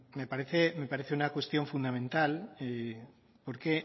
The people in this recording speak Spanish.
me parece una cuestión fundamental porque